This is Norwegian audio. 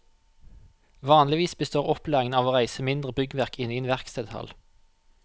Vanligvis består opplæringen av å reise mindre byggverk inne i en verkstedhall.